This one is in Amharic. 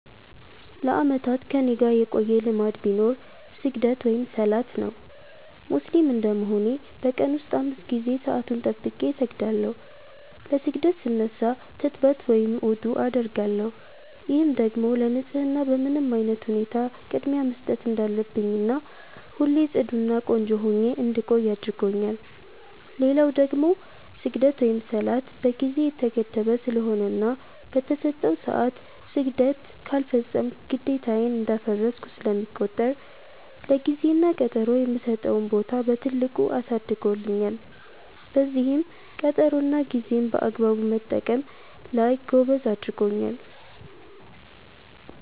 ለአመታት ከኔጋ የቆየ ልማድ ቢኖር ስግደት(ሰላት) ነው። ሙስሊም እንደመሆኔ በ ቀን ውስጥ 5 ጊዜ ሰአቱን ጠብቄ እሰግዳለው። ለ ስግደት ስነሳ ትጥበት(ውዱዕ) አደርጋለው፤ ይህም ደግሞ ለ ንፀህና በምንም አይነት ሁኔታ ቅድሚያ መስጠት እንዳለብኝና ሁሌ ፅዱ እና ቆንጆ ሁኜ እንድቆይ አድርጎኛል። ሌላው ደግሞ ስግደት(ሰላት) በ ጊዜ የተገደበ ስለሆነና በ ተሰጠው ሰዐት ስግደት ካልፈፀምኩ ግዴታዬን እንዳፈረስኩ ስለሚቆጠር ለ ጊዜ እና ቀጠሮ የምሰጠውን ቦታ በትልቁ አሳድጎልኛል፤ በዚህም ቀጠሮ እና ጌዜን በአግባቡ መጠቀም ላይ ጎበዝ አድርጎኛል።